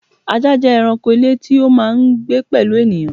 Ajá jẹ́ ẹranko ilé tí ó máà ń gbé pẹ̀lú ènìyàn